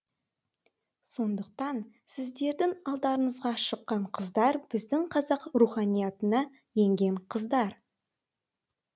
сондықтан сіздердің алдарыңызға шыққан қыздар біздің қазақ руханиатына енген қыздар